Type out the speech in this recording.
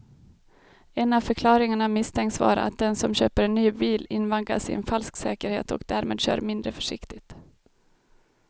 En av förklaringarna misstänks vara att den som köper en ny bil invaggas i en falsk säkerhet och därmed kör mindre försiktigt.